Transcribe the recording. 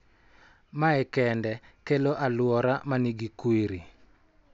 Ma e kende kelo alwora ma nigi kwiri